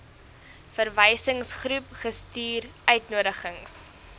verwysingsgroep gestuur uitnodigings